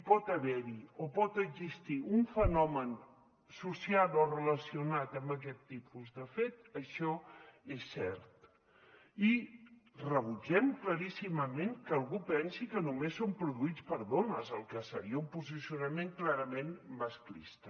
pot haverhi o pot existir un fenomen associat o relacionat amb aquest tipus de fet això és cert i rebutgem claríssimament que algú pensi que només són produïts per dones que seria un posicionament clarament masclista